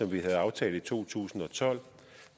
vi havde aftalt i to tusind og tolv